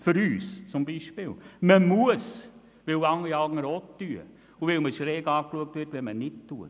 Man muss, weil alle anderen Geschäfte geöffnet haben und weil man schräg angeschaut wird, wenn man es nicht macht.